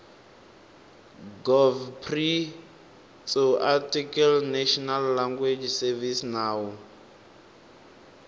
gov pri tsoarticlenational language servicesnawu